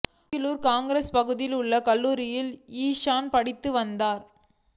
Kogilu cross பகுதியில் உள்ள கல்லூரியில் இஷான் படித்து வந்தார்